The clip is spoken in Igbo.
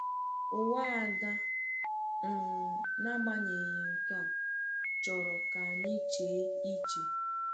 Ụwa Ada, um n’agbanyeghị nke a, chọrọ ka anyị chee iche.